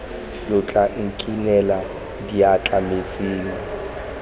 lo tla nkinela diatla metsing